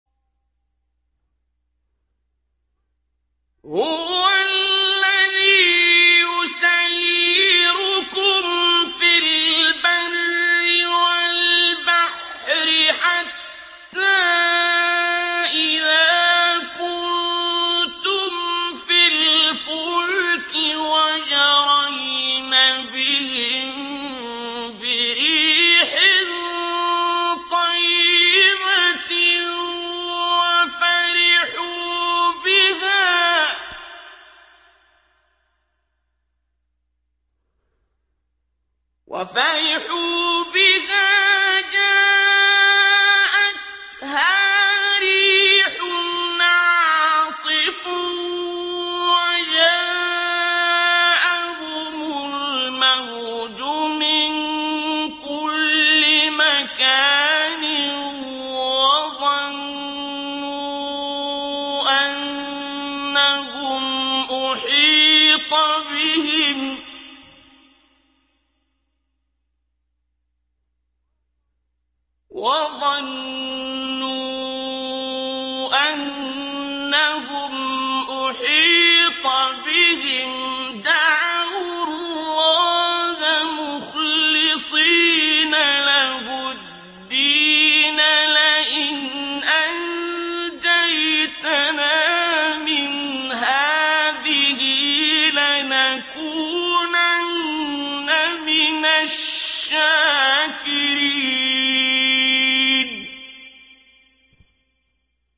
هُوَ الَّذِي يُسَيِّرُكُمْ فِي الْبَرِّ وَالْبَحْرِ ۖ حَتَّىٰ إِذَا كُنتُمْ فِي الْفُلْكِ وَجَرَيْنَ بِهِم بِرِيحٍ طَيِّبَةٍ وَفَرِحُوا بِهَا جَاءَتْهَا رِيحٌ عَاصِفٌ وَجَاءَهُمُ الْمَوْجُ مِن كُلِّ مَكَانٍ وَظَنُّوا أَنَّهُمْ أُحِيطَ بِهِمْ ۙ دَعَوُا اللَّهَ مُخْلِصِينَ لَهُ الدِّينَ لَئِنْ أَنجَيْتَنَا مِنْ هَٰذِهِ لَنَكُونَنَّ مِنَ الشَّاكِرِينَ